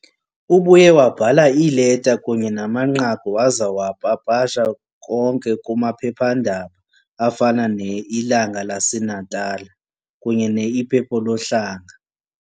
Ubuye wabhala iileta kunye namanqaku waza wapapasha konke kumaphepha-ndaba afana "ne-Ilanga laseNatala" kunye "ne-Ipepo Lo Hlanga" .